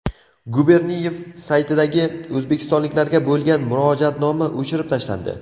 Guberniyev saytidagi o‘zbekistonliklarga bo‘lgan murojaatnoma o‘chirib tashlandi.